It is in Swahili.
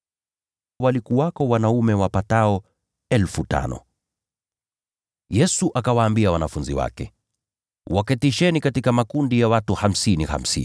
Walikuwako wanaume wapatao 5,000. Yesu akawaambia wanafunzi wake, “Waketisheni katika makundi ya watu hamsini hamsini.”